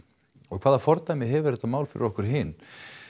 og hvaða fordæmi hefur þetta mál fyrir okkur hin